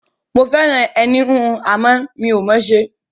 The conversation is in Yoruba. Mo fẹ́ràn iṣẹ́ ẹní-híhun, àmọ́ mi ò mọ̀ ọ́n ṣe.